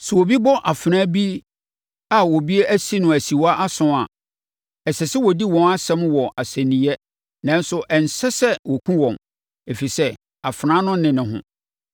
“ ‘Sɛ obi bɔ afenaa bi a obi asi no asiwaa asɔn a, ɛsɛ sɛ wɔdi wɔn asɛm wɔ asɛnniiɛ nanso ɛnsɛ sɛ wɔkum wɔn, ɛfiri sɛ, afenaa no nne ne ho.